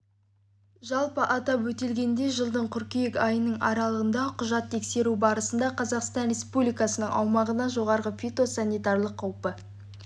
жалпы атап өтілгендей жылдың қыркүйек айының аралығында құжат тексеру барысында қазақстан республикасының аумағына жоғарғы фитосанитариялық қаупі